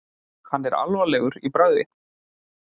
Hann er alvarlegur í bragði.